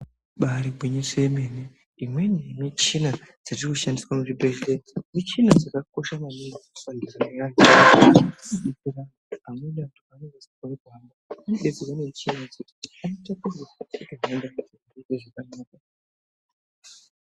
Ibari gwinyiso remene imweni dzemichina dzatinoshandisa muzvibhedhlera michina dzakakosha maningi mundaramo yevantu amweni anhu anenge asingachakoni kufema anodetsrerwa nemichina iyoyo.